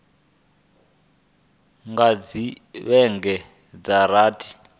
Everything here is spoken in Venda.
nga dzhia vhege dza rathi